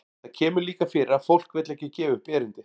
Það kemur líka fyrir að fólk vill ekki gefa upp erindið.